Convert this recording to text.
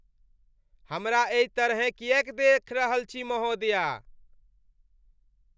हमरा एहि तरहेँ किएक देखि रहल छी महोदया?